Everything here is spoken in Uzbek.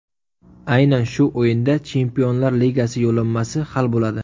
Aynan shu o‘yinda Chempionlar Ligasi yo‘llanmasi hal bo‘ladi.